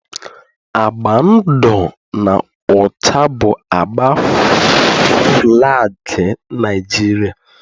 Agba ndụ na ọcha bụ agba falgi Niajiria